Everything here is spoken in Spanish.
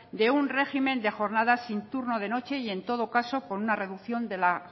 de un régimen de jornadas sin turno de noche y en todo caso con una reducción de la